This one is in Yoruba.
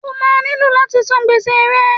O máa nílò láti san gbèsè rẹ.